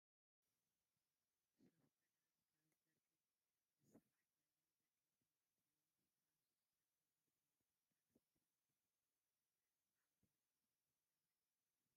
ሱፍ ክዳን ካብ ጨርቂ ዝስራሕ ኮይኑ፣ ደቂ ተባዕትዮ ኣብ ስልጣን ዘለው ሰባትን ባንኪ ሰራሕተኛታትን ንመርዓን ዓመታዊ ባዓላትን ዝክደን ክዳን እዩ።